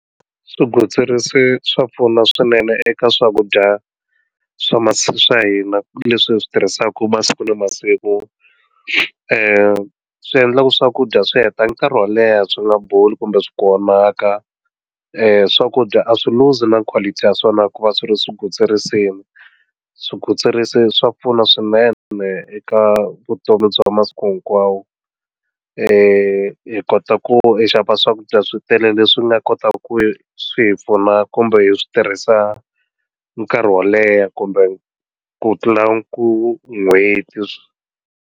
Swigwitsirisi swa pfuna swinene eka swakudya swa masiku swa hina leswi hi swi tirhisaka masiku na masiku swi endlaka swakudya swi heta nkarhi wo leha swi nga boli kumbe swi vonaka swakudya a swi lose na quality ya swona ku va swi ri swigwitsirisi yini swigwitsirisi swa pfuna swinene eka vutomi bya masiku hinkwawo hi kota ku xava swakudya switele leswi nga kotaka ku swi hi pfuna kumbe hi swi tirhisa nkarhi wo leha kumbe ku tlula ku n'hweti.